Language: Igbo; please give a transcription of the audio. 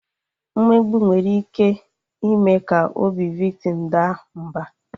Mmegbu nwere ike ime ka obi viktim daa mba